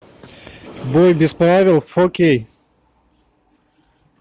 бой без правил фо кей